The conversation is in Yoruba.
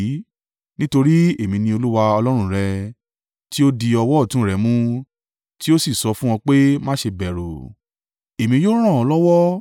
Nítorí Èmi ni Olúwa Ọlọ́run rẹ, tí ó di ọwọ́ ọ̀tún rẹ mú tí ó sì sọ fún ọ pé, má ṣe bẹ̀rù; Èmi yóò ràn ọ́ lọ́wọ́.